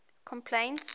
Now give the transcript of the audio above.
complaints